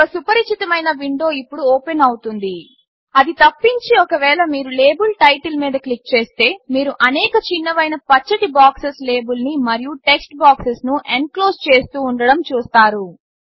ఒక సుపరిచితమైన విండో ఇప్పుడు ఓపెన్ అవుతుంది అది తప్పించి ఒకవేళ మీరు లేబుల్ టైటిల్ మీద క్లిక్ చేస్తే మీరు అనేక చిన్నవైన పచ్చటి బాక్సెస్ లేబుల్ని మరియు టెక్స్ట్ బాక్స్ను ఎన్క్లోస్ చేస్తూ ఉండడం చూస్తారు